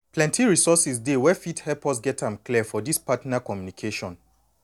plenty resources dey now wey fit help us get am clear for this partner communication